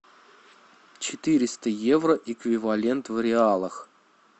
четыреста евро эквивалент в реалах